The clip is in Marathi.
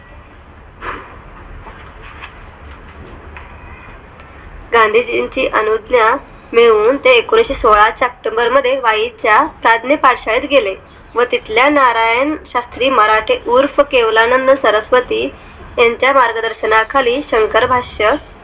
गांधीजींची अनुज्ञा मिळून ते एकोणीशेसोळा october मध्ये वाई च्या साधने पाठशाळेत गेले व तिथल्या नारायण शास्त्री मराठे उर्फ केवलानंद सरस्वती यांच्या मार्गदर्शना खाली शंकर भाष्य